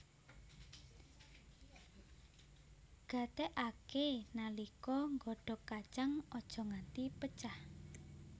Gatékaké nalika nggodhog kacang aja nganti pecah